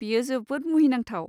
बेयो जोबोद मुहिनांथाव।